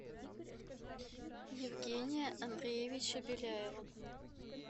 евгения андреевича беляева